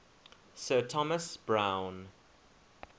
sir thomas browne